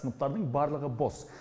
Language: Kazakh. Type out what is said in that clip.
сыныптардың барлығы бос